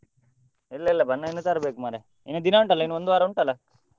ಇಲ್ಲ ಇಲ್ಲ ಬಣ್ಣ ಇನ್ನು ತರ್ಬೇಕು ಮರ್ರೆ ಇನ್ನು ದಿನ ಉಂಟಾಲ್ಲ ಇನ್ನು ಒಂದು ವಾರ ಉಂಟಲ್ಲ?